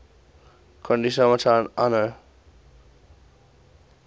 country submit annual